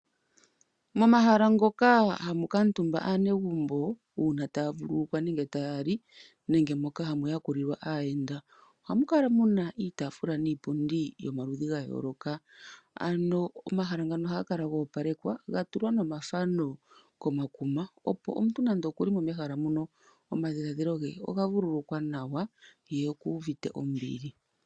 Momahala ngoka hamu kuutumba aanegumbo uuna taya vululukwa nenge taya li nenge moka hamu yakulilwa aayenda, ohamu kala mu na iitaafula niipundi yomaludhi ga yooloka. Omahala ngano ohaga kala go opalekwa ga tulwa nomathano komakuma, opo omuntu nande oku li mo mehala muno omadhiladhilo ge oga vululukwa nawa ye okuuvite ombili.